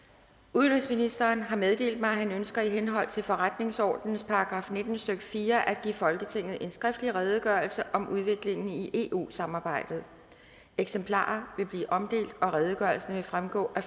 udenrigsministeren har meddelt mig at han ønsker i henhold til forretningsordenens § nitten stykke fire at give folketinget en skriftlig redegørelse om udviklingen i eu samarbejdet eksemplarer vil blive omdelt og redegørelsen vil fremgå af